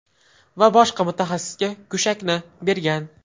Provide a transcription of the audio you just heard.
Va boshqa mutaxassisga go‘shakni bergan.